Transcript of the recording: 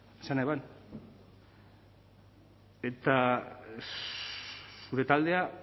esan eban eta zure taldeak